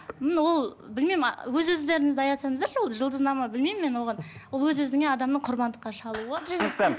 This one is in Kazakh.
м ол білмеймін өз өздеріңізді аясаңыздаршы ол жұлдызнама білмеймін мен оған ол өз өзіңе адамның құрбандыққа шалуы түсінікті